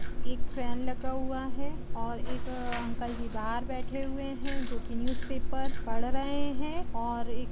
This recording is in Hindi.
एक फैन लगा हुआ है और एक अंकल जी बाहर बैठे हुए हैं जो कि न्यूज़पेपर पढ़ रहे हैं और--